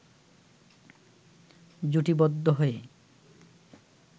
জুটিবদ্ধ হয়ে